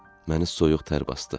Məni soyuq tər basdı.